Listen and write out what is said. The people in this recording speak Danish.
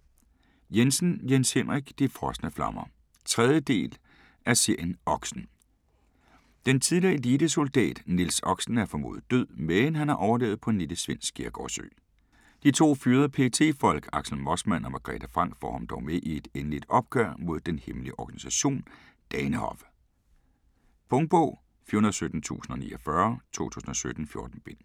Jensen, Jens Henrik: De frosne flammer 3. del af serien Oxen. Den tidligere elitesoldat Niels Oxen er formodet død, men har overlevet på en lille svensk skærgårdsø. De to fyrede PET-folk, Axel Mossman og Margrethe Franck får ham dog med i et endeligt opgør mod den hemmelige organisation, Danehof. Punktbog 417049 2017. 14 bind.